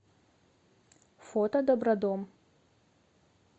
фото добродом